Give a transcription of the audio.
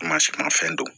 Ma sumanfɛn don